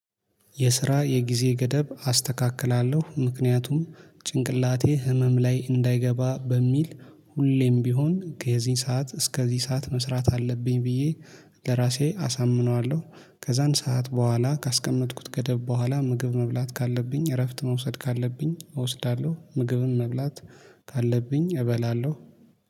የስራ የጊዜ ገደብ አስተካክላለሁ ምክንያቱም ጭንቅላቴ ህመም ላይ እንዳይገባ በሚል ሁሌም ቢሆን ከዚህ ሰዓት እስከዚህ ሰዓት መስራት አለብኝ ብዬ ለራሴ አሳምነዋለሁ ከዛን ሰዓት በኋላ ካስቀመጥኩት ገደብ በኋላ ምግብ መብላት ካለብኝ እረፍት መውሰድ ካለብኝ እወስዳለሁ። ምግብም መብላት ካለብኝ እበላለሁ